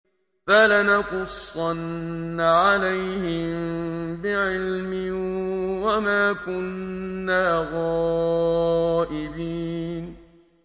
فَلَنَقُصَّنَّ عَلَيْهِم بِعِلْمٍ ۖ وَمَا كُنَّا غَائِبِينَ